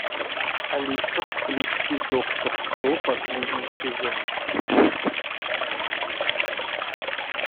алиса включи доктор кто последний сезон